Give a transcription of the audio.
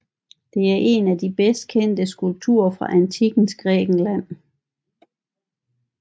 Det er en af de bedst kendte skulpturer fra antikkens Grækenland